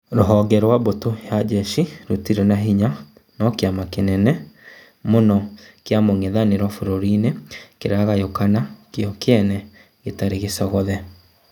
Rũhonge rwa mbũtũ ya njeshi rũtirĩ na hinya no kĩama kĩnene mũno kĩa mũng'ethanĩro bũrũri-inĩ kĩragayũkana kĩo kĩene gĩtarĩ gĩcogothe.